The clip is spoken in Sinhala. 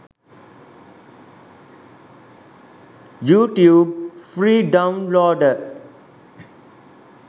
youtube free downloader